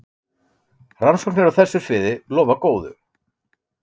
Rannsóknir á þessu sviði lofa góðu.